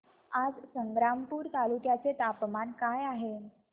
आज संग्रामपूर तालुक्या चे तापमान काय आहे